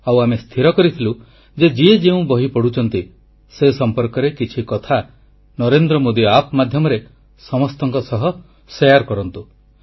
ଆଉ ଆମେ ସ୍ଥିର କରିଥିଲୁ ଯେ ଯିଏ ଯେଉଁ ବହି ପଢ଼ୁଛନ୍ତି ସେ ସମ୍ପର୍କରେ କିଛି କଥା ନରେନ୍ଦ୍ର ମୋଦୀ ଆପ ମାଧ୍ୟମରେ ସମସ୍ତଙ୍କ ସହ ବାଣ୍ଟନ୍ତୁ